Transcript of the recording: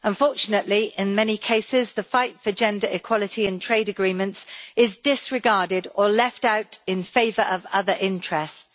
Unfortunately, in many cases, the fight for gender equality and trade agreements is disregarded or left out in favour of other interests.